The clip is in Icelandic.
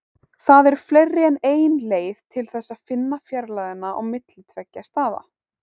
Það eru fleiri en ein leið til þess að finna fjarlægðina á milli tveggja staða.